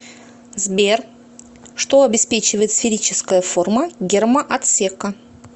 сбер что обеспечивает сферическая форма гермоотсека